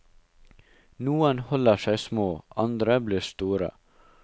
Noen holder seg små, andre blir store.